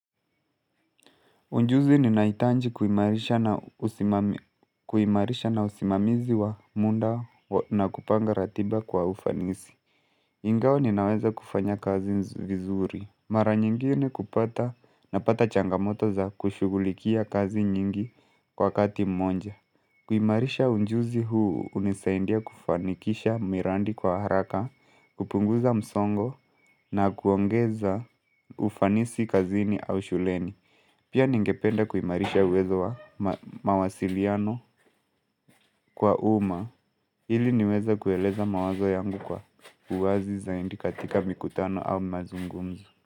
Ujuzi ninahitanji kuimarisha na usimamizi wa muda na kupanga ratiba kwa ufanisi. Ingawa ninaweza kufanya kazi vizuri mara nyingine kupata napata changamoto za kushughulikia kazi nyingi kwa wakati mmoja kuimarisha ujuzi huu hunisaindia kufanikisha miradi kwa haraka, kupunguza msongo na kuongeza ufanisi kazini au shuleni Pia ningependa kuimarisha uwezo wa mawasiliano kwa umma ili niweze kueleza mawazo yangu kwa uwazi zaidi katika mikutano au mazungumzo.